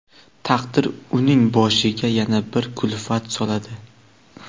taqdir uning boshiga yana bir kulfat soladi.